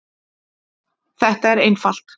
Þetta er einfalt.